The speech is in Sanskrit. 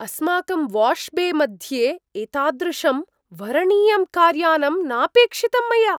अस्माकं वाश् बे मध्ये एतादृशं वरणीयं कार्यानम् नापेक्षितं मया।